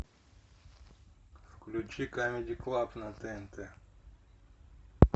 включи камеди клаб на тнт